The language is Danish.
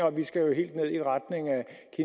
at vi skal helt